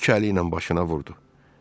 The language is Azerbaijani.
İki əli ilə başına vurdu.